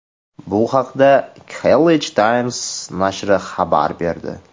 Bu haqda Khaleej Times nashri xabar berdi .